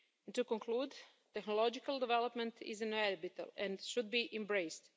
To conclude, technological development is inevitable and should be embraced.